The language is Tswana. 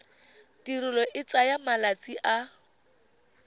tirelo e tsaya malatsi a